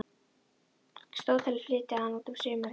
Stóð til að flytja hann út um sumarið.